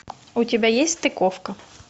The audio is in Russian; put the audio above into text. у тебя есть стыковка